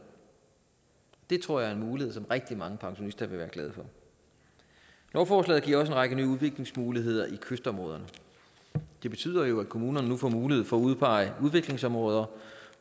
det tror jeg er en mulighed som rigtig mange pensionister vil være glade for lovforslaget giver også en række nye udviklingsmuligheder i kystområderne det betyder jo at kommunerne nu får mulighed for at udpege udviklingsområder